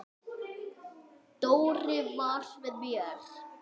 Dóri var með mér.